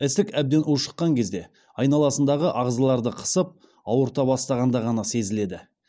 ісік әбден ушыққан кезде айналасындағы ағзаларды қысып ауырта бастағанда ғана сезіледі